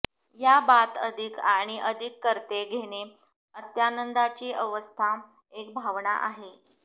या बाथ अधिक आणि अधिक करते घेणे अत्यानंदाची अवस्था एक भावना आहे